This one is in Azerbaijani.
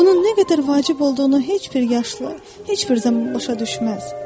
Bunun nə qədər vacib olduğunu heç bir yaşlı heç bir zaman başa düşməz.